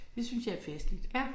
Det synes jeg er festligt